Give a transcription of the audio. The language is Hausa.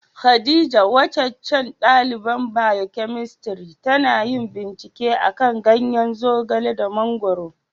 Khadijah, wacacan dalibain biyokemistri tana yin bincike a'kan ganyen Zogale da Mangoro.